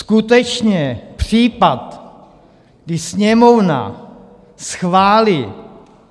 Skutečně případ, kdy Sněmovna schválí